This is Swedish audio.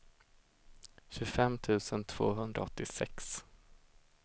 tjugofem tusen tvåhundraåttiosex